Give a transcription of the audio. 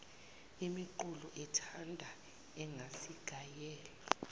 imiqulu ethanda engazigayela